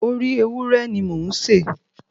Orí ewúrẹ́ ni mò ń sè.